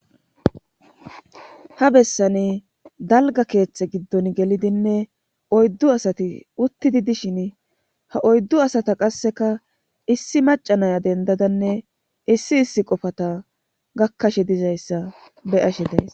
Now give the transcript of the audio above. Ha bessani dalga keeththe giddon gelidinne oyddu asati uttidi dishin ha oyddu asata qasseka issi macanaya dendadanne issi issi qofata gakkashe dizayssa beyashe days.